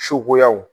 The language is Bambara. Suguyaw